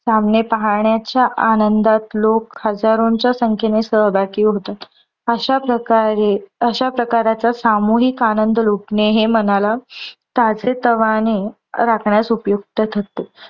सामने पाहण्याच्या आनंदात लोक हजारोंच्या संख्येने सहभागी होतात. अश्या प्रकारे अशाप्रकाराचा सामोहिक आनंद लुटने हे मनाला ताजेतवाने राखण्यास उपयुक्त ठरते.